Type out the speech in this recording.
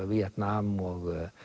Víetnam og